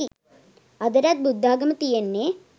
අදටත් බුද්ධාගම තියෙන්නෙ